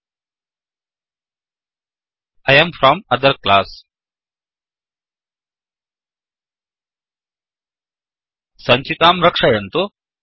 I am from other class I am from other class सञ्चिकां रक्षयन्तु